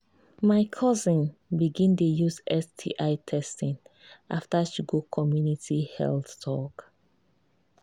my cousin begin dey use sti testing after she go community health talk.